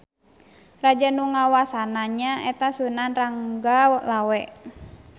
Raja nu ngawasana nya eta Sunan Ranggalawe.